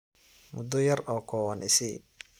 Mudo yar oo koowan isii.